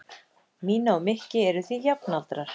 Mína og Mikki eru því jafnaldrar.